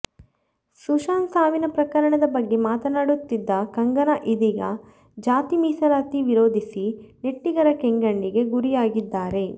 ಸುಶಾಂತ್ ಸಾವಿನ ಪ್ರಕರಣದ ಬಗ್ಗೆ ಮಾತನಾಡುತ್ತಿದ್ದ ಕಂಗನಾ ಇದೀಗ ಜಾತಿ ಮಿಸಲಾತಿ ವಿರೋಧಿಸಿ ನೆಟ್ಟಿಗರ ಕೆಂಗಣ್ಣಿಗೆ ಗುರಿಯಾಗಿದ್ದಾರೆ